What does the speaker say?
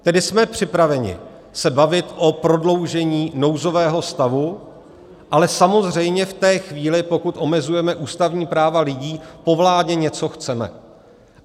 Tedy jsme připraveni se bavit o prodloužení nouzového stavu, ale samozřejmě v té chvíli, pokud omezujeme ústavní práva lidí, po vládě něco chceme.